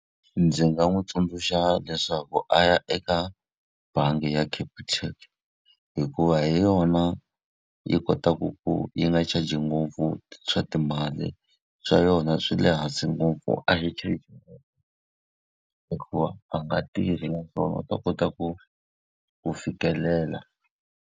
Ndzi nga n'wi tsundzuxa leswaku a ya eka bangi ya Capitec hikuva hi yona yi kotaka ku yi nga charge-i ngopfu swa timali. Swa yona swi le hansi ngopfu a hi hikuva a nga tirhi naswona u ta kota ku ku fikelela.